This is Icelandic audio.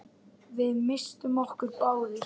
Við misstum okkur báðir.